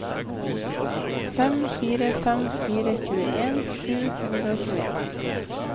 fem fire fem fire tjueen sju hundre og tjueen